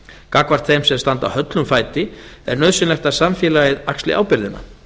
gagnvart þeim sem standa höllum fæti er nauðsynlegt að samfélagið axli ábyrgðina